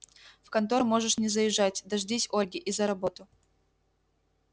в контору можешь не заезжать дождись ольги и за работу